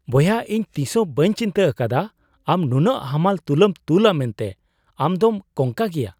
ᱵᱚᱭᱦᱟ ! ᱤᱧ ᱛᱤᱥ ᱦᱚᱸ ᱵᱟᱹᱧ ᱪᱤᱱᱛᱟᱹ ᱟᱠᱟᱫᱟ ᱟᱢ ᱱᱩᱱᱟᱹᱜ ᱦᱟᱢᱟᱞ ᱛᱩᱞᱟᱹᱢ ᱛᱩᱞᱼᱟ ᱢᱮᱱᱛᱮ, ᱟᱢ ᱫᱚᱢ ᱠᱚᱝᱠᱟ ᱜᱮᱭᱟ !!